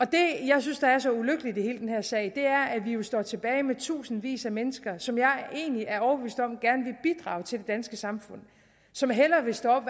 det jeg synes er så ulykkeligt i hele den her sag er at vi jo står tilbage med tusindvis af mennesker og som jeg egentlig er overbevist om gerne vil bidrage til det danske samfund som hellere vil stå